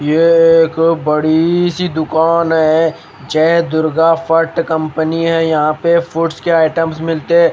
एक बड़ी सी दुकान है। जय दुर्गा फैट कंपनी है। यहां पर फूड्स के आइटम्स मिलते है।